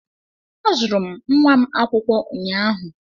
Azụrụ m nwa m akwụkwọ ụnyaahụ.